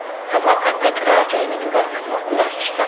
Samarqandda turar-joyning bir qismi qulab tushdi .